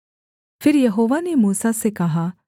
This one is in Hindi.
फिर यहोवा ने मूसा से कहा